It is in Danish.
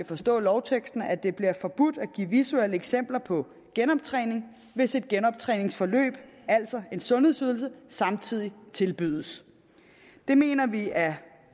forstår lovteksten at det bliver forbudt at give visuelle eksempler på genoptræning hvis et genoptræningsforløb altså en sundhedsydelse samtidig tilbydes det mener vi er